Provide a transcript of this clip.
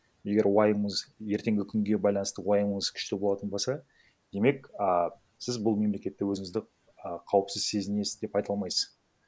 егер уайымыңыз ертеңгі күнге байланысты уайымыңыз күшті болатын болса демек а сіз бұл мемлекетте өзіңізді і қауіпсіз сезінесіз деп айта алмайсыз